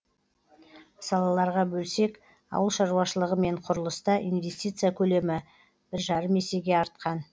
салаларға бөлсек ауыл шаруашылығы мен құрылыста инвестиция көлемі бір жарым есеге артқан